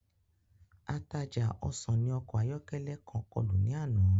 Ataja osan ni ọkọ ayọkẹlẹ kan kọlu ni ana.